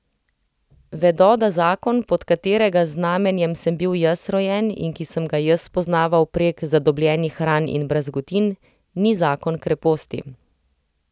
Vedo, da zakon, pod katerega znamenjem sem bil jaz rojen in ki sem ga jaz spoznaval prek zadobljenih ran in brazgotin, ni zakon kreposti.